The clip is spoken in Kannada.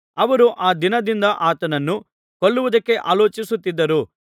ಅವರು ಆ ದಿನದಿಂದ ಆತನನ್ನು ಕೊಲ್ಲುವುದಕ್ಕೆ ಆಲೋಚಿಸುತ್ತಿದ್ದರು